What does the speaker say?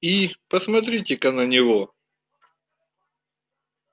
и посмотрите-ка на него